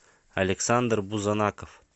александр бузанаков